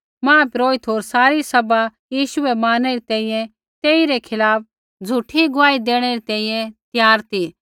मुख्यपुरोहिता होर सारी सभा यीशु बै मारनै री तैंईंयैं तेइरै खिलाफ़ झ़ूठी गुआही देणै री तैंईंयैं त्यार ती